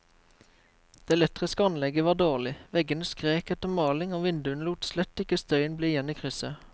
Det elektriske anlegget var dårlig, veggene skrek etter maling og vinduene lot slett ikke støyen bli igjen i krysset.